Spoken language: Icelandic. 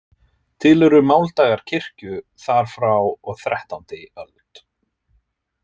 Til eru máldagar kirkju þar frá og þrettándi öld.